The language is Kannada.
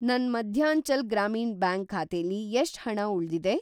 ನನ್‌ ಮಧ್ಯಾಂಚಲ್‌ ಗ್ರಾಮೀಣ್‌ ಬ್ಯಾಂಕ್ ಖಾತೆಲಿ ಎಷ್ಟ್‌ ಹಣ ಉಳ್ದಿದೆ?